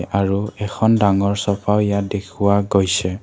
আৰু এখন ডাঙৰ চোফাও ইয়াত দেখুওৱা গৈছে।